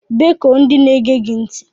Bekue ndị na-ege gị ntị!!